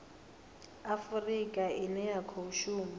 afurika ine ya khou shuma